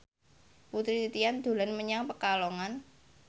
Putri Titian dolan menyang Pekalongan